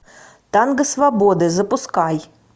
танго свободы запускай